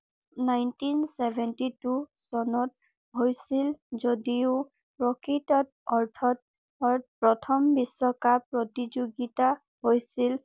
nineteen seventy two চনত হৈছিল যদিও প্ৰকৃত অৰ্থত প্ৰথম বিশ্বকাপ প্ৰতিযোগিতা হৈছিল